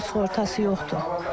Xeyr, evimin sığortası yoxdur.